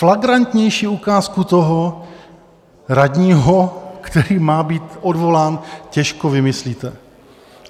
Flagrantnější ukázku toho radního, který má být odvolán, těžko vymyslíte.